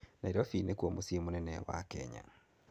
Nairobi nĩkuo mũciĩ mũnene wa Kenya.